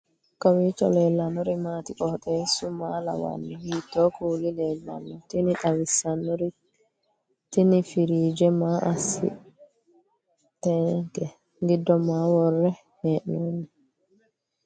kowiicho leellannori maati ? qooxeessu maa lawaanno ? hiitoo kuuli leellanno ? tini xawissannori tini firiije maa assinanniteikka giddo maa worre hee'noonni